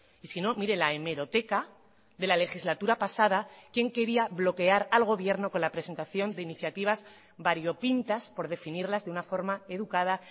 y si no mire la hemeroteca de la legislatura pasada quién quería bloquear al gobierno con la presentación de iniciativas variopintas por definirlas de una forma educada